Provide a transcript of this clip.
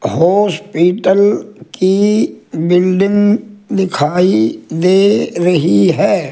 Hospital की building दिखाई दे रही है।